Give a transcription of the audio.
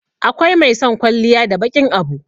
akwai mai son kwalliya da baƙin Abu